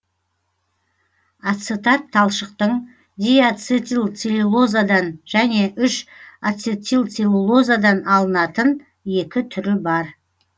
ацетат талшықтың диацетилцеллюлозадан және үш ацетилцеллюлозадан алынатын түрі бар